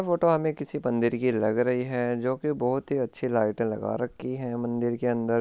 यह फोटो हमे किसी मंदिर की लग रही है जो की बहुत ही अच्छे लाइटे लगा रखी है मंदिर के अंदर।